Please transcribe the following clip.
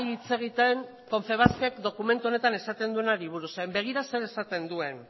hitz egiten confebask ek dokumentu honetan esaten duenari buruz zeren begira zer esaten duen